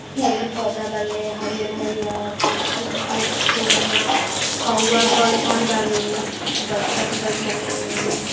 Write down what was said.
पेड़ पौधा लगल हरीयर-हरीयर फिर जाके सो जाना कौवा बैठल बाबे बत्तख बैठल बाबे --